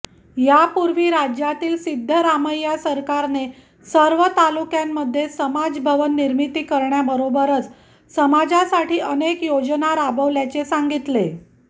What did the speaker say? यापूर्वी राज्यातील सिद्धरामय्या सरकारने सर्व तालुक्यांमध्ये समाज भवन निर्मिती करण्याबरोबरच समाजासाठी अनेक योजना राबवल्याचे सांगितले